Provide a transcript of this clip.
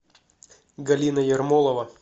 галина ермолова